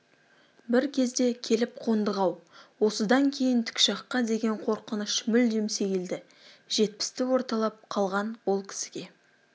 бір кезде келіп қондық-ау осыдан кейін тікұшаққа деген қорқыныш мүлдем сейілді жетпісті орталап қалған ол кісіге